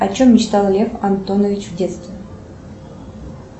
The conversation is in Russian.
о чем мечтал лев антонович в детстве